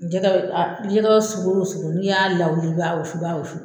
Jɛgɛ sugu o sugu n'i y'a lawili i b'a wusu, i b'a wusu